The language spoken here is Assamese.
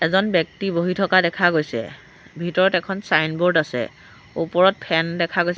এজন ব্যক্তি বহি থকা দেখা গৈছে ভিতৰত এখন ছাইনবোৰ্ড আছে ওপৰত ফেন দেখা গৈছ--